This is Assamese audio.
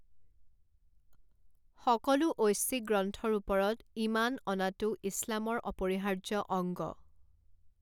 সকলো ঐশ্বিক গ্ৰন্থৰ ওপৰত ঈমান অনাটো ইছলামৰ অপৰিহাৰ্য অংগ।